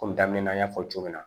Ko daminɛ na n y'a fɔ cogo min na